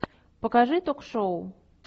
покажи ток шоу